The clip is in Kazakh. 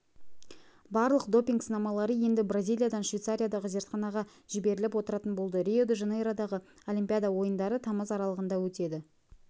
барлық допинг сынамалары енді бразилиядан швейцариядағы зертханаға жіберіліп отыратын болды рио-де-жанейродағы олимпиада ойындары тамыз аралығында өтеді